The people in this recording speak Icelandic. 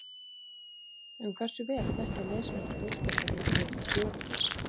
En hversu vel þekkja lesendur Fótbolta.net stjórana?